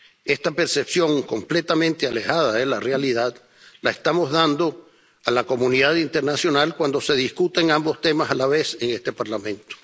Esta percepción, completamente alejada de la realidad, es la que damos a la comunidad internacional cuando se discuten ambos temas a la vez en este Parlamento.